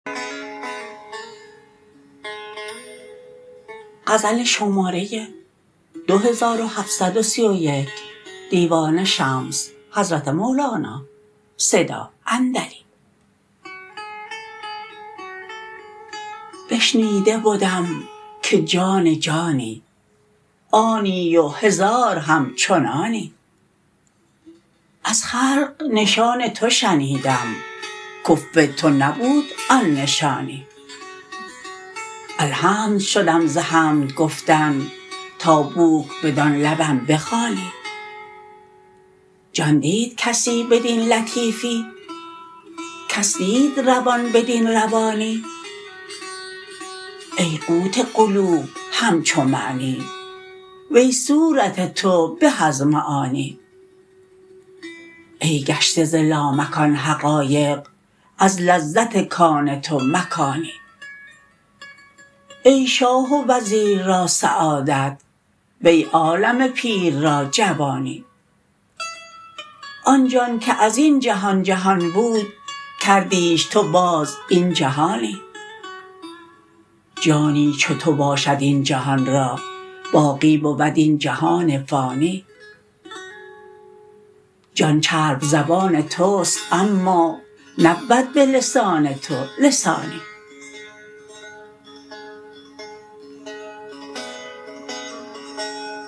بشنیده بدم که جان جانی آنی و هزار همچنانی از خلق نشان تو شنیدم کفو تو نبود آن نشانی الحمد شدم ز حمد گفتن تا بوک بدان لبم بخوانی جان دید کسی بدین لطیفی کس دید روان بدین روانی ای قوت قلوب همچو معنی وی صورت تو به از معانی ای گشته ز لامکان حقایق از لذت کان تو مکانی ای شاه و وزیر را سعادت وی عالم پیر را جوانی آن جان که از این جهان جهان بود کردیش تو باز این جهانی جانی چو تو باشد این جهان را باقی بود این جهان فانی جان چرب زبان توست اما نبود به لسان تو لسانی